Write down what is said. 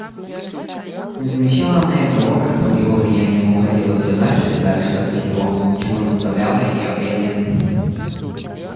не замечала она и того как под его влиянием уходила всё дальше и дальше от всего чему наставляла её эллин